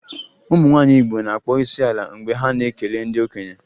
Ụmụnwaanyị Igbo na-akpọ isiala mgbe ha na-ekele ndị okenye